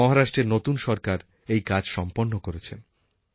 মহারাষ্ট্রের নতুন সরকার এই কাজ সম্পন্ন করেছেন